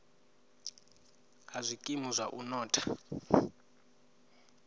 ha zwikimu zwa u notha